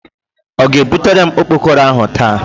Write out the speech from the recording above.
O ga-ebutere m okpokoro ahu taa?